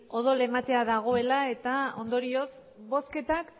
odol ematea dago ela eta ondorioz bozketa